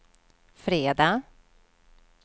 fredag